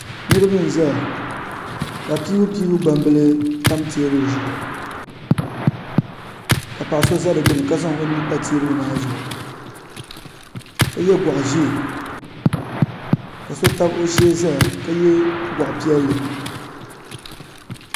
Niriba n zaya ka piibupiibu gbaŋ bila tam tɛɛbuli zuɣu ka paɣa so za di gbuni ka zaŋ o nuu pa tɛɛbuli maa zuɣu ka ye gɔɣi zɛɛ ka so tabi o shɛɛ zaya ka ye gɔɣi piɛlli.